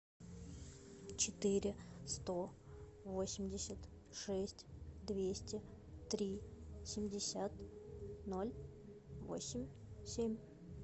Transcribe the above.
четыре сто восемьдесят шесть двести три семьдесят ноль восемь семь